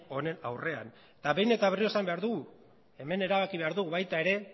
honen aurrean eta behin eta berriro esan behar dugu hemen erabaki behar dugu baita ere